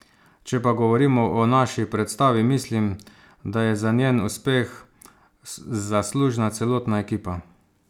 Če pa govorimo o naši predstavi mislim, da je za njen uspeh zaslužna celotna ekipa.